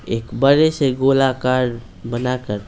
एक बड़े से गोलाकार बनाकर----